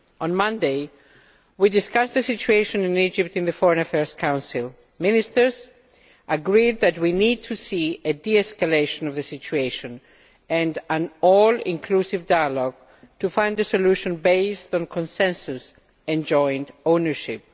On Monday, we discussed the situation in Egypt in the Foreign Affairs Council. Ministers agreed that we need to see a de escalation of the situation and an all inclusive dialogue to find a solution based on consensus and joint ownership.